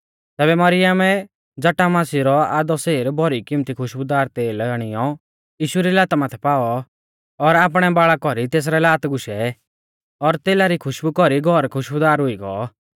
तैबै मरियमै जटामांसी रौ आधौ सेर भौरी किमत्ती खुश्बुदार तेल आणियौ यीशु री लाता माथै पाऔ और आपणै बाल़ा कौरी तेसरै लात गुशै और तेला री खुशबु कौरी घौर खुशबुदार हुई गौ